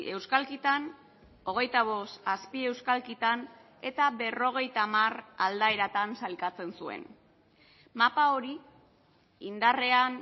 euskalkitan hogeita bost azpieuskalkitan eta berrogeita hamar aldaeratan sailkatzen zuen mapa hori indarrean